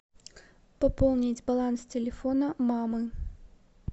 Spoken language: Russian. пополнить баланс телефона мамы